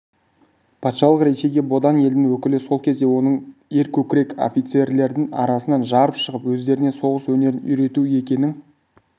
патшалық ресейге бодан елдің өкілі сол кезде оның өркөкірек офицерлердің арасынан жарып шығып өздеріне соғыс өнерін үйретуі екінің